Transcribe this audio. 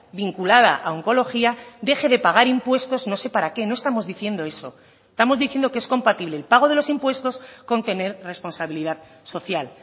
vinculada a oncología deje de pagar impuestos no sé para qué no estamos diciendo eso estamos diciendo que es compatible el pago de los impuestos con tener responsabilidad social